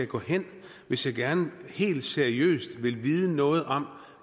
gå hen hvis jeg gerne helt seriøst vil vide noget om